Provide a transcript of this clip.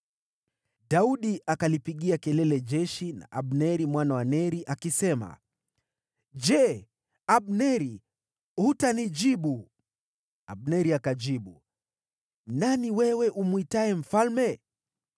Daudi akalipigia kelele jeshi na Abneri mwana wa Neri, akisema, “Je, Abneri, hutanijibu?” Abneri akajibu, “Nani wewe umwitaye mfalme?”